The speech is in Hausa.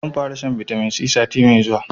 Zan fara shan bitamin C sati mai zuwa